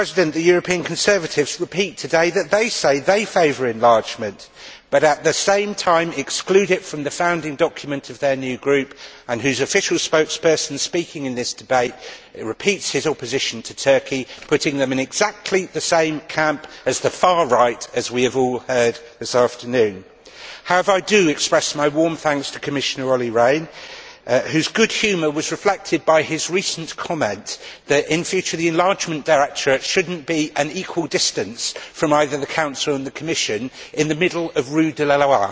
The European Conservatives repeat today that they say they favour enlargement but, at the same time, exclude it from the founding document of their new group whose official spokesperson, speaking in this debate, repeats his opposition to Turkey, thus putting them in exactly the same camp as the Far Right as we have all heard this afternoon. However, I do express my warm thanks to Commission Olli Rehn, whose good humour was reflected by his recent comment that, in future, the Directorate General for Enlargement should not be an equal distance from either the Council or the Commission, in the middle of rue de la Loi.